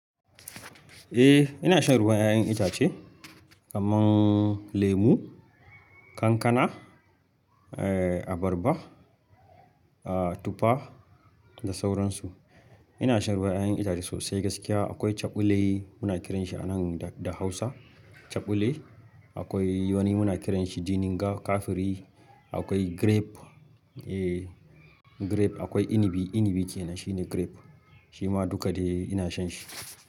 Eh ina shan ruwan ƴaƴan itace. Kaman lemu, kankana, abarba, tufa da sauransu. Ina shan ruwan ƴaƴan itace sosai gaskiya akwai caɓule muna kiran shi a nan da Hausa caɓule. Akwai wani muna kiran shi jininga kafiri, akwai grape, eh grape akwai inibi, inibi ke nan shine grape. Shima duka dai ina shan shi.